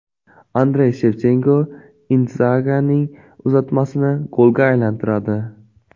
Andrey Shevchenko Indzagining uzatmasini golga aylantiradi.